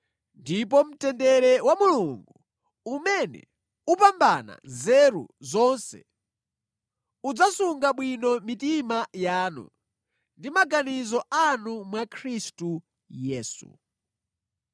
Ndipo mtendere wa Mulungu, umene upambana nzeru zonse udzasunga bwino mitima yanu ndi maganizo anu mwa Khristu Yesu.